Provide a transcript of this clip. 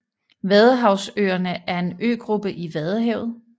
Vadehavsøerne er en øgruppe i Vadehavet